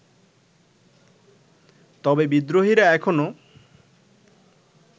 তবে বিদ্রোহীরা এখনো